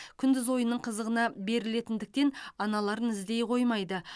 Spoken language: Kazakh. күндіз ойынның қызығына берілетіндіктен аналарын іздей қоймайды